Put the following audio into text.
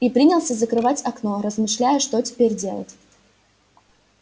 и принялся закрывать окно размышляя что теперь делать